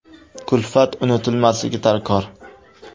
Kulfat unutilmasligi darkor.